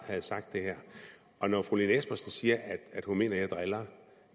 havde sagt det her og når fru lene espersen siger at hun mener at jeg driller